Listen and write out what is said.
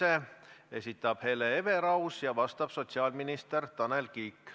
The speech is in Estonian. Selle esitab Hele Everaus ja vastab sotsiaalminister Tanel Kiik.